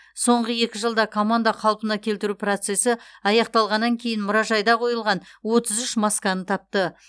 соңғы екі жылда команда қалпына келтіру процесі аяқталғаннан кейін мұражайда қойылған отыз үш масканы тапты